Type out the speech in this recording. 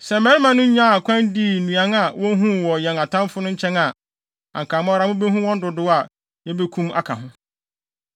Sɛ mmarima no nyaa kwan dii nnuan a wohuu wɔ yɛn atamfo no nkyɛn a, anka mo ara mubehu wɔn dodow a yebekum aka ho.”